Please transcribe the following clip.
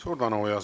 Suur tänu!